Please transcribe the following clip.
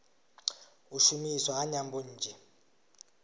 u shumiswa ha nyambo nnzhi